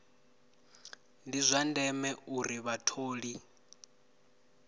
ndi zwa ndeme uri vhatholi